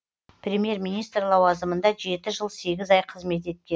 премьер министр лауазымында жеті жыл сегіз ай қызмет еткен